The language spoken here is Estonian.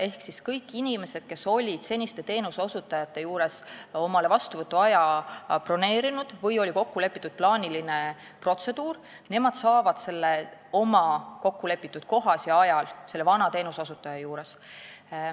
Ehk kõik inimesed, kes olid seniste teenuseosutajate juurde vastuvõtuaja broneerinud või seal plaanilise protseduuri kokku leppinud, saavad oma teenuse kokkulepitud kohas ja ajal vana teenuseosutaja juures.